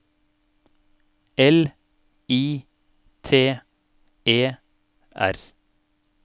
L I T E R